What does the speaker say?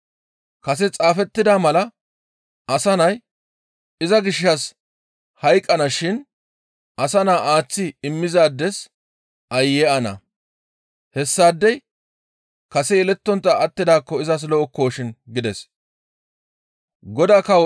Kase xaafettida mala Asa Nay iza gishshas hayqqana shin asa naa aaththi immizaades aayye ana! Hessaadey kase yelettontta attidaakko izas lo7okkoshin!» gides.